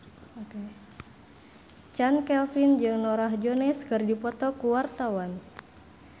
Chand Kelvin jeung Norah Jones keur dipoto ku wartawan